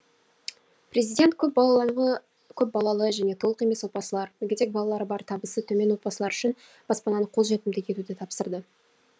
президент көпбалалы және толық емес отбасылар мүгедек балалары бар табысы төмен отбасылар үшін баспананы қолжетімді етуді тапсырды